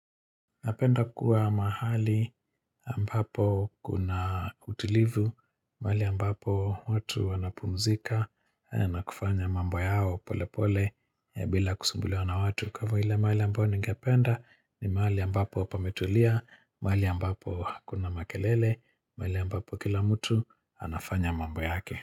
Napenda kuwa mahali ambapo kuna utulivu, mahali ambapo watu wanapumzika na kufanya mambo yao pole pole ya bila kusumbuliwa na watu. Kama ile mahali ambapo ningependa ni mahali ambapo pametulia, mahali ambapo hakuna makelele, mahali ambapo kila mtu anafanya mambo yake.